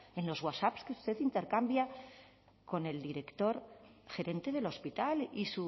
en los wasaps que usted intercambia con el director gerente del hospital y